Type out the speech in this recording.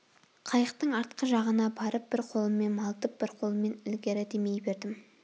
қайықтың артқы жағына барып бір қолыммен малтып бір қолыммен ілгері демей бердім